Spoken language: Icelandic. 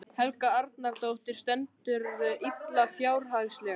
Helga Arnardóttir: Stendurðu illa fjárhagslega?